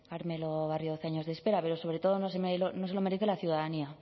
carmelo barrio doce años de espera pero sobre todo no se lo merece la ciudadanía